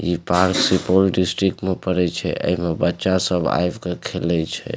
इ park Supaul district में पड़य छै ऐमे बच्चा सब आएब के खेले छै।